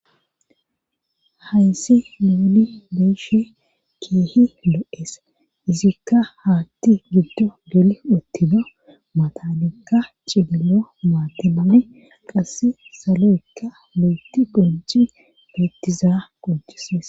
hayssi nuuni be'ishe keehi lo7es izikka haatti giddo geli uttina matanikka cigilo maatamane qasse salo7ekka lo7oti gonji beettizaa qojises